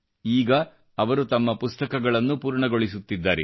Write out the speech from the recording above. ಈಗ ಅವರು ತಮ್ಮ ಪುಸ್ತಕವನ್ನು ಪೂರ್ಣಗೊಳಿಸುತ್ತಿದ್ದಾರೆ